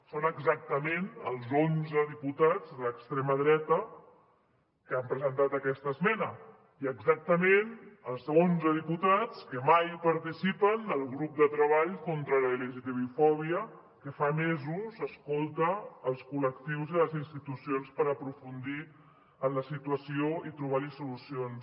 són exactament els onze diputats d’extrema dreta que han presentat aquesta esmena i exactament els onze diputats que mai participen del grup de treball contra l’lgtbi fòbia que fa mesos escolta els col·lectius i les institucions per aprofundir en la situació i trobar hi solucions